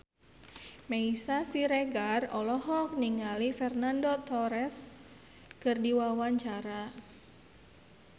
Meisya Siregar olohok ningali Fernando Torres keur diwawancara